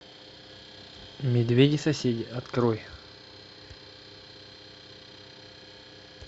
медведи соседи открой